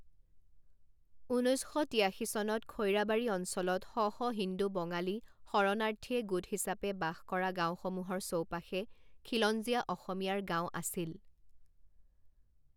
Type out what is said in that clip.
ঊনৈছ শ তিয়াশী চনত খৈৰাবাৰী অঞ্চলত শ শ হিন্দু বঙালী শৰণাৰ্থীয়ে গোট হিচাপে বাস কৰা গাঁওসমূহৰ চৌপাশে খিলঞ্জীয়া অসমীয়াৰ গাঁও আছিল।